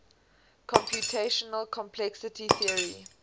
computational complexity theory